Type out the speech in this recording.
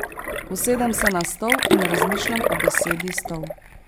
Usedem se na stol in razmišljam o besedi stol.